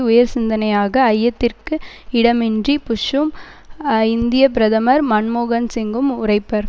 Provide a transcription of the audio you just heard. உயர்சிந்தனையாக ஐயத்திற்கு இடமின்றி புஷ்ஷும் இந்திய பிரதமர் மன்மோகன் சிங்கும் உரைப்பர்